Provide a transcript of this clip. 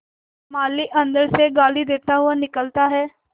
माली अंदर से गाली देता हुआ निकलता है